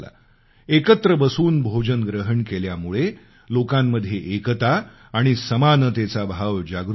एकत्र बसून भोजन ग्रहण केल्यामुळे लोकांमध्ये एकता आणि समानतेचा भाव जागृत झाला